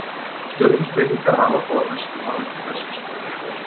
Stjörnuspekingar hafa þó að mestu horfið frá þessu, sem betur fer.